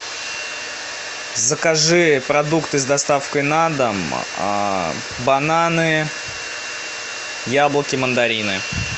закажи продукты с доставкой на дом бананы яблоки мандарины